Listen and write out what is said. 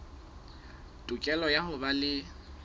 tokelo ya ho ba le